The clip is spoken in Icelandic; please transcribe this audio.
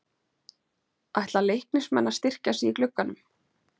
Ætla Leiknismenn að styrkja sig í glugganum?